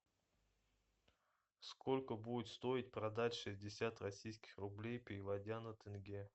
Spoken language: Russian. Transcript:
сколько будет стоить продать шестьдесят российских рублей переводя на тенге